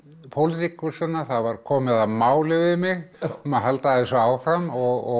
pólitíkusana það var komið að máli við mig um að halda þessu áfram og